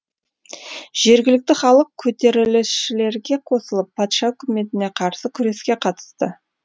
жергілікті халық көтерілісшілерге қосылып патша үкіметіне қарсы күреске қатысты